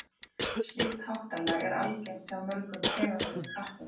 slíkt háttalag er algengt hjá mörgum tegundum kattardýra